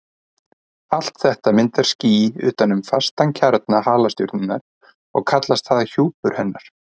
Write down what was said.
Allt þetta myndar ský utan um fastan kjarna halastjörnunnar og kallast það hjúpur hennar.